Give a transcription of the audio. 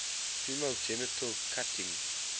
female genital cutting